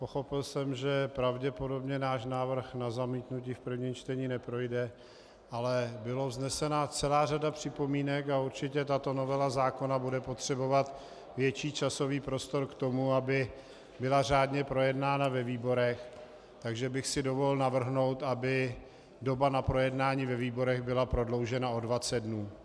Pochopil jsem, že pravděpodobně náš návrh na zamítnutí v prvním čtení neprojde, ale byla vznesena celá řada připomínek a určitě tato novela zákona bude potřebovat větší časový prostor k tomu, aby byla řádně projednána ve výborech, takže bych si dovolil navrhnout, aby doba na projednání ve výborech byla prodloužena o 20 dnů.